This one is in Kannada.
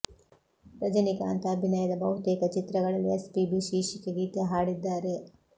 ರಜನಿಕಾಂತ್ ಅಭಿನಯದ ಬಹುತೇಕ ಚಿತ್ರಗಳಲ್ಲಿ ಎಸ್ ಪಿ ಬಿ ಶೀರ್ಷಿಕೆ ಗೀತೆ ಹಾಡಿದ್ದಾರೆ